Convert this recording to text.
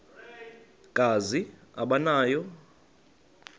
kazi aba nawo